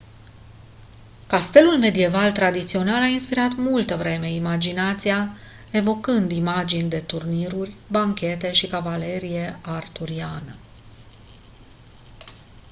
castelul medieval tradițional a inspirat multă vreme imaginația evocând imagini de turniruri banchete și cavalerie arturiană